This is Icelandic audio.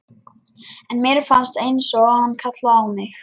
En mér fannst einsog hann kallaði á mig.